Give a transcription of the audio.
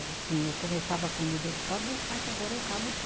Assim, eu começava a comida, ele, pode deixar que agora eu acabo